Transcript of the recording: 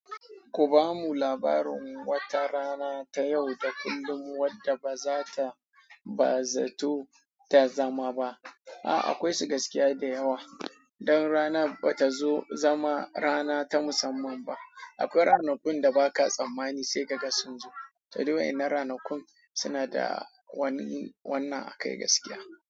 Ku bamu labarin wata rana ta yau da kullum wadda ba za ta ba zato ta zama ba. A'a, akwai su gaskiya da yawa. Don rana ba ta zo zama rana ta musamman ba. Akwai ranakun da ba ka tsammani sai ka ga sun zo. To, duk wainnan ranakun suna da wani wannan akai gaskiya.